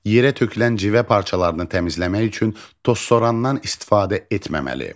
Yerə tökülən civə parçalarını təmizləmək üçün tozsorandan istifadə etməməli.